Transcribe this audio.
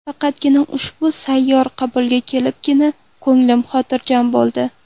Faqat ushbu sayyor qabulga kelibgina ko‘nglim xotirjam bo‘ldi.